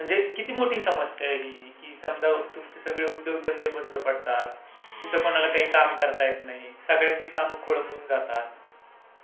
म्हणजे किती मोठी समस्या आहे ही. कि समजा तुम्ही सगळे उद्योग धंदे बंद पडतात कुठं कोणाला काही काम करता येत नाही, सगळ्यांची काम कोळंबून जातात.